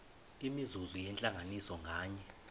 imizuzu yentlanganiso nganye